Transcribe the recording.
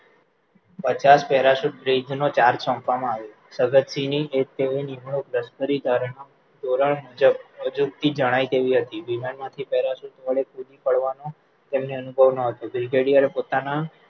પચાસ parachute bridge નો charge સોંપવામાં આવ્યો જગતસિંહની એ લશકરી નિમણુંક ધોરણ અજુકતી જણાય તેવી હતી વિમાન માંથી parachute વડે કૂદી પાડવાનો તેમેને અનુભવ ન હતો brigadier પોતાના